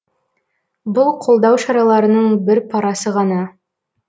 бұл қолдау шараларының бір парасы ғана